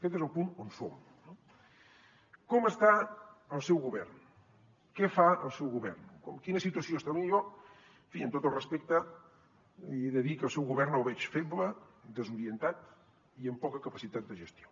aquest és el punt on som no com està el seu govern què fa el seu govern en quina situació està potser en fi amb tot el respecte li he de dir que el seu govern el veig feble desorientat i amb poca capacitat de gestió